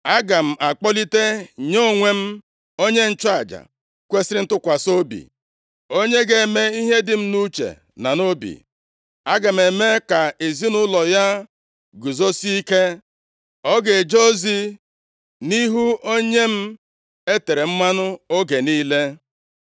Aga m akpọlite nye onwe m, onye nchụaja kwesiri ntụkwasị obi, onye ga-eme ihe dị m nʼuche na nʼobi. Aga m eme ka ezinaụlọ ya guzosie ike. O ga-eje ozi nʼihu Onye m e tere mmanụ oge niile.